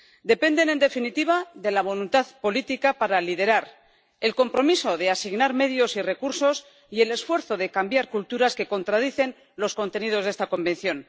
dependen, en definitiva, de la voluntad política para liderar el compromiso de asignar medios y recursos, y del esfuerzo de cambiar culturas que contradicen los contenidos de la Convención.